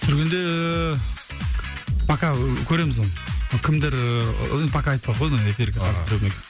түсіргенде пока ы көреміз оны кімдер ііі пока айтпай ақ кояйын оны